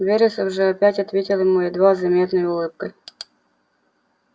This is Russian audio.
вересов же опять ответил ему едва заметной улыбкой